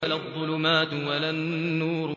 وَلَا الظُّلُمَاتُ وَلَا النُّورُ